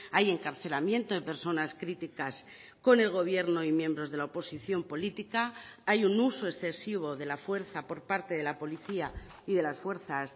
hay encarcelamiento de personas críticas con el gobierno y miembros de la oposición política hay un uso excesivo de la fuerza por parte de la policía y de las fuerzas